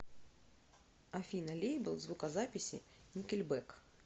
афина лейбл звукозаписи никельбэк